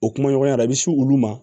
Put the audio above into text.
O kumaɲɔgɔnya la a bɛ s'olu ma